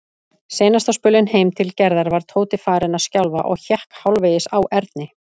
Seinasta spölinn heim til Gerðar var Tóti farinn að skjálfa og hékk hálfvegis á Erni.